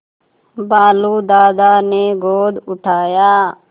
भालू दादा ने गोद उठाया